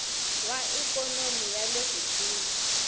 wa ikhonomi ya le kusuhi